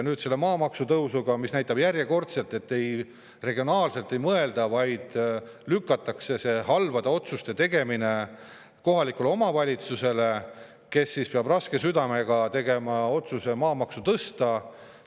Ka maamaksu tõus näitab järjekordselt, et ei mõelda regionaalselt, vaid lükatakse halbade otsuste tegemine kohaliku omavalitsuse kaela, kes peab raske südamega tegema otsuse maamaksu tõsta.